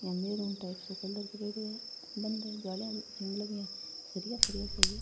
Maroon types सो colour करेड़ो है बंधन जालियां लगी है सरिया सरिया सा ही है।